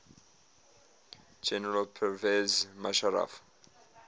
general pervez musharraf